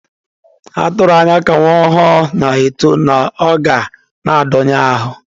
A tụrụ anya na ka nwa ọhụrụ na-eto, na ọ ga na-adọnye ahụ.